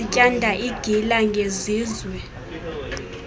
bezityanda igila ngesizwe